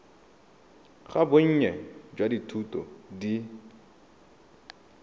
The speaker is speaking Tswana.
ga bonnye jwa dithuto di